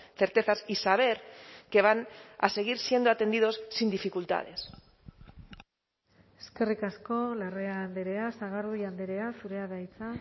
certezas y saber qué van a seguir siendo atendidos sin dificultades eskerrik asko larrea andrea sagardui andrea zurea da hitza